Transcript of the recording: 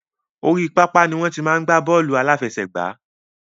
Orí pápá ni wọn ti máa ń gba bọ́ọ́lù alafẹsẹ̀gbà